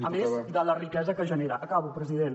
a més de la riquesa que generen acabo president